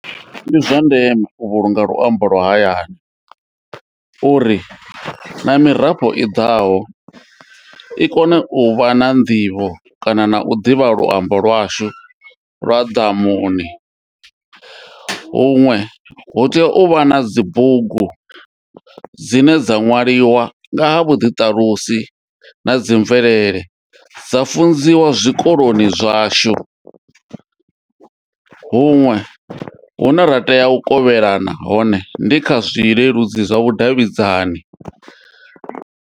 Ndi zwa ndeme u vhulunga luambo lwa hayani uri na mirafho i ḓaho i kone u vha na nḓivho kana na u ḓivha luambo lwashu lwa ḓamuni huṅwe hu tea uvha na dzibugu dzine dza ṅwaliwa nga ha vhuḓiṱalusi na dzi mvelele dza funziwa zwikoloni zwashu huṅwe hune ra tea u kovhelana hone ndi kha zwileludzi zwa vhudavhidzani.